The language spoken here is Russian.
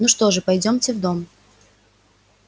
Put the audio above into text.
ну что же пойдёмте в дом